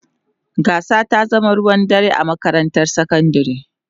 Gasar ta zama ruwan dare a makarantar sakandare.